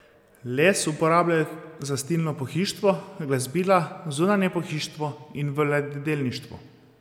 Les uporabljajo za stilno pohištvo, glasbila, zunanje pohištvo in v ladjedelništvu.